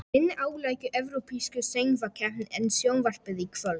Hinni árlegu evrópsku söngvakeppni er sjónvarpað í kvöld.